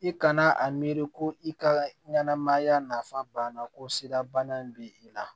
I kana a miiri ko i ka ɲɛnɛmaya nafa banna ko sidabana b'i la